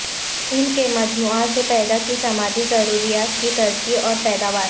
ان کے مجموعہ سے پیدا کی سماجی ضروریات کی ترقی اور پیداوار